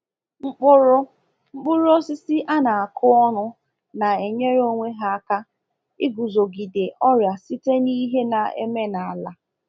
Mkpụrụ Mkpụrụ osisi a na-akụ ọnụ na-enyere onwe ha aka iguzogide ọrịa site n’ihe na-eme n’ala.